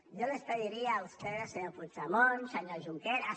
yo les pediría a ustedes senyor puigdemont senyor junqueras